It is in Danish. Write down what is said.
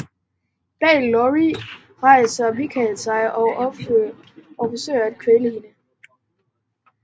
Bag Laurie rejser Michael sig og forsøger at kvæle hende